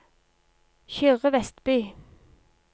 Kyrre Westby